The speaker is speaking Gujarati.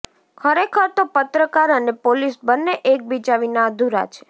ખરેખર તો પત્રકાર અને પોલીસ બંને એકબીજા વિના અધૂરા છે